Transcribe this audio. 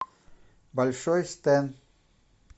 большой стэн